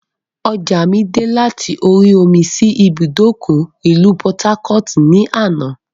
Ọjà mi dè láti orí omi sì ibùdókọ̀ ìlú "Port-harcourt" ni àná.